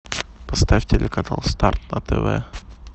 поставь телеканал старт на тв